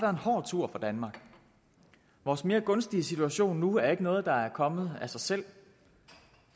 en hård tur for danmark vores mere gunstige situation nu er ikke noget der er kommet af sig selv